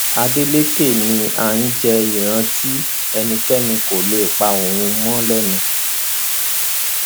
adeleke ni a jẹ ìran tí ẹnikẹni kò lè pa ohùn mọ lẹnu